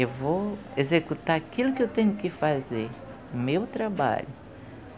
Eu vou executar aquilo que eu tenho que fazer, o meu trabalho.